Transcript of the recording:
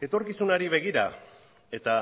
etorkizunari begira eta